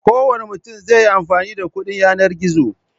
Kowane mutum zai yi amfani da kuɗin yanar gizo.